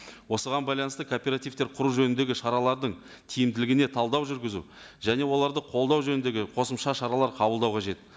осыған байланысты кооперативтер құру жөніндегі шаралардың тиімділігіне талдау жүргізу және оларды қолдау жөніндегі қосымша шаралар қабылдау қажет